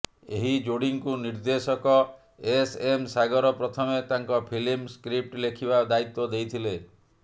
ଏହି ଯୋଡ଼ିଙ୍କୁ ନିର୍ଦ୍ଦେଶକ ଏସ୍ ଏମ୍ ସାଗର ପ୍ରଥମେ ତାଙ୍କ ଫିଲ୍ମ୍ର ସ୍କ୍ରିପ୍ଚ୍ ଲେଖିବା ଦାୟିତ୍ୱ ଦେଇଥିଲେ